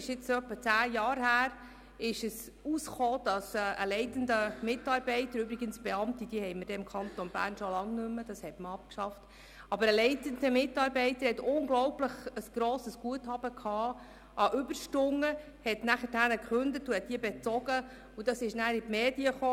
Vor etwa acht Jahren kam aus, dass ein leitender Mitarbeiter – Beamte gibt es im Kanton Bern schon lange nicht mehr, da wir diesen Status abgeschafft haben – ein unglaublich grosses Guthaben an Überstunden besass, dann kündigte und dieses Guthaben bezog.